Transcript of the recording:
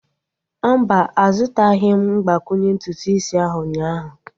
Mba, azutaghim mgbakwunye ntutu isi ahu ụnyaahụ